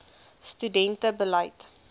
studente bied